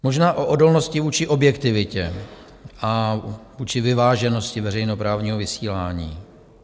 Možná o odolnosti vůči objektivitě a vůči vyváženosti veřejnoprávního vysílání.